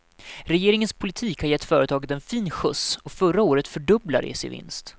Regeringens politik har gett företaget en fin skjuts, och förra året fördubblade de sin vinst.